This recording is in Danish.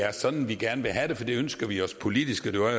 er sådan vi gerne vil have det for det ønsker vi os politisk det var